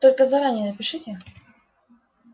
только заранее напишите